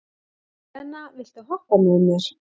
Serena, viltu hoppa með mér?